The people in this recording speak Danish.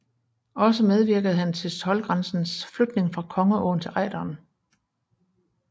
Også medvirkede han til toldgrænsens flytning fra Kongeåen til Ejderen